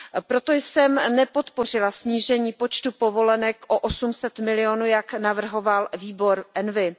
Proto jsem nepodpořila snížení počtu povolenek o 800 milionů, jak navrhoval výbor ENVI.